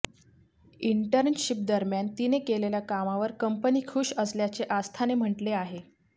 internship दरम्यान तिने केलेल्या कामावर कंपनी खूष असल्याचे आस्थाने म्हटले आहे